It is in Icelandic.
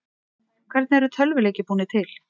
Hvernig eru tölvuleikir búnir til?